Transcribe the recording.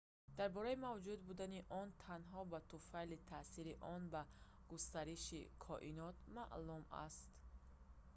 дар бораи мавҷуд будани он танҳо ба туфайли таъсири он ба густариши коинот маълум аст